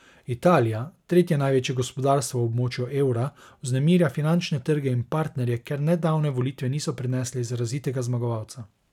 Italija, tretje največje gospodarstvo v območju evra, vznemirja finančne trge in partnerje, ker nedavne volitve niso prinesle izrazitega zmagovalca.